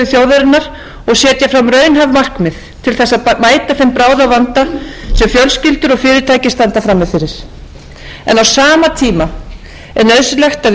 fram raunhæf markmið til þess að mæta þeim bráðavanda sem fjölskyldur og fyrirtæki standa frammi fyrir á sama tíma er nauðsynlegt að við